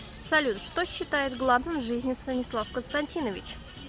салют что считает главным в жизни станислав константинович